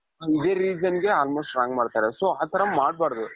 ಇದೆ reason ಗೆ almost wrong ಮಾಡ್ತಾರೆ so ಆ ತರ ಮಾಡಬಾರದು .